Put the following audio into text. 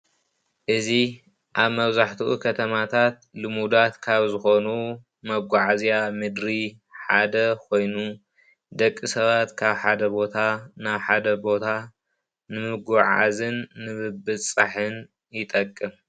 እዚ ኣብ መብዛሕትኡ ከተማታት ልሙዳት ካብ ዝኾኑ መጓዓዝያ ምድሪ ሓደ ኾይኑ ደቂ ሰባት ካብ ሓደ ቦታ ናብ ሓደ ቦታ ንምጉዕዓዝን ንብፅፃሕን ይጠቅም።